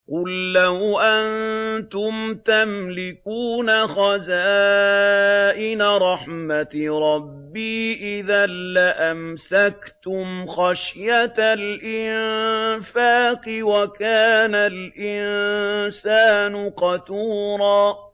قُل لَّوْ أَنتُمْ تَمْلِكُونَ خَزَائِنَ رَحْمَةِ رَبِّي إِذًا لَّأَمْسَكْتُمْ خَشْيَةَ الْإِنفَاقِ ۚ وَكَانَ الْإِنسَانُ قَتُورًا